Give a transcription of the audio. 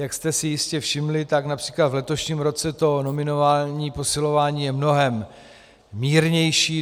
Jak jste si jistě všimli, tak například v letošním roce to nominální posilování je mnohem mírnější.